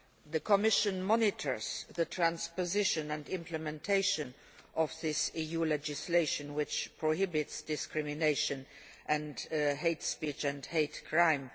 The Commission monitors the transposition and implementation of this EU legislation, which prohibits discrimination and hate speech and hate crime.